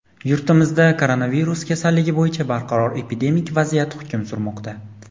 yurtimizda koronavirus kasalligi bo‘yicha barqaror epidemik vaziyat hukm surmoqda.